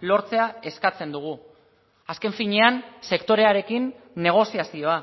lortzea eskatzen dugu azken finean sektorearekin negoziazioa